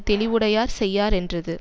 தெளிவுடையார் செய்யா ரென்றது